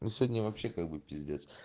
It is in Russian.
сегодня вообще как бы пиздец